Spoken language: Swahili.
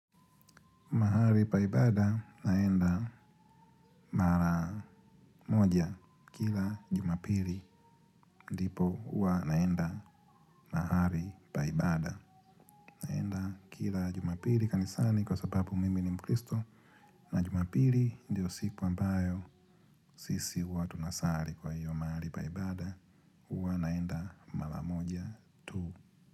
Mahali pa ibada naenda mara moja kila jumapili ndipo hua naenda mahali pa ibada. Kila jumapili kanisani kwa sababu mimi ni mkristo na jumapili ndiyo siku ambayo sisi huwa tunasari kwa hiyo mahali pa ibada huwa naenda mara moja tu.